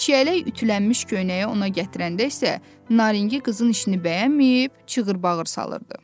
Çiyələk ütülənmiş köynəyi ona gətirəndə isə Naringi qızın işini bəyənməyib çığırbağır salırdı.